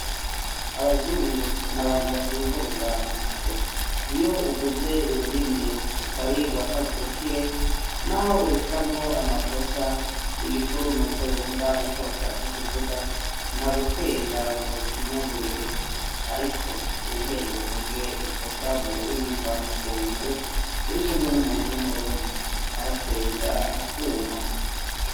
abazungu nabantu bativuruga mu mutwe iyo uvuze ururimi rutari rwakavukire n'aho urushiramwo amakosa igikuru nuko yumva ico washatse kuvuga nta gutwenga ngwa gushinyagurire ariko wihende uvuge ikosa mu rurimi mva amakungu urikumwe n'umuntu w'umurundi aratwenga akuma